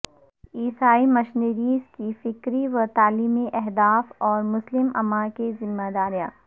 عیسائی مشنریز کے فکری و تعلیمی اہداف اور مسلم امہ کی ذمہ داریاں